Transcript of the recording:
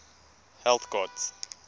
health gods